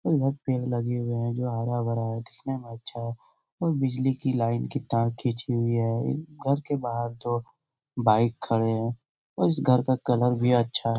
बहुत पेड़ लगे हुए हैं जो हरा-भरा है अच्छा है और बिजली के लाइट की तार खींची हुई है घर के बाहर दो बाइक खड़े हैं और इस घर का कलर भी अच्छा है।